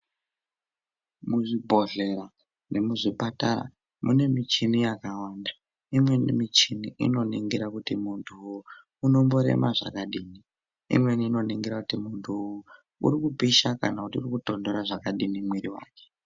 Muzvibhohlera nemuzvipatara mune michini yakawanda, imweni michini ino ningira kuti muntu unomborema zvakadini, imweni inoningira kuti muntu uri kupisha kana kutonhora zvakadini mwiri wake.